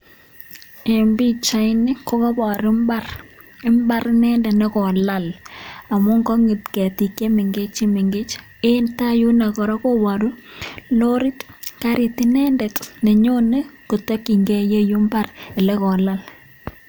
En pichaini ko koibor mbar. Mbar inendet ne kolal amun kong'et ketik che mengech che mengech en taa yuno kora koburo lorit karit inendet neyone kotokinge ireyu mbar ele kolal